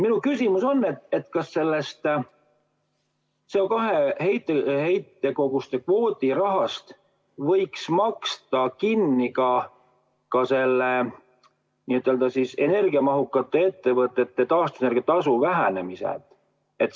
Minu küsimus on, kas sellest CO2 heitkoguste kvoodi rahast võiks maksta kinni ka selle n-ö energiamahukate ettevõtete taastuvenergia tasu vähenemise.